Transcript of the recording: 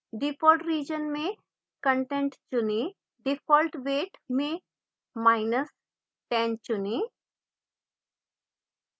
default region में content चुनें default weight में10 चुनें